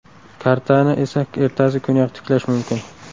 Kartani esa ertasi kuniyoq tiklash mumkin.